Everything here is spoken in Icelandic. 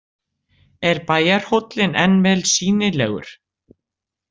Er bæjarhóllinn enn vel sýnilegur.